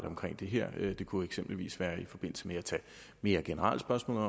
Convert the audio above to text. omkring det her det kunne eksempelvis være i forbindelse med at tage mere generelle spørgsmål